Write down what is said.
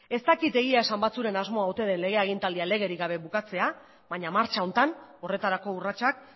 ez dakit egia esan batzuen asmoa ote den lege agintaldian legerik gabe bukatzea baina martxa honetan horretarako urratsak